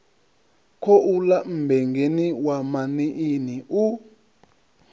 khouḽa mmbengeni wa maṋiini u